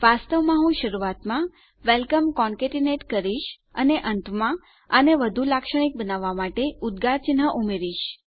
વાસ્તવમાં હું શરૂઆતમાં વેલકમ કોન્કેતીનેટ કરીશ અને અંતમાં આને વધુ લાક્ષણિક બનાવવા માટે ઉદગાર ચિન્હ ઉમેરીશ